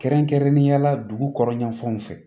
Kɛrɛnkɛrɛnnenya la dugukɔnɔ yan fanw fɛ